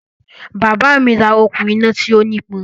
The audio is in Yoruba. Bàbá mi ra okùn-iná tí ó nípọn.